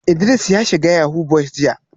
Idris ya shiga yahoo boys jiya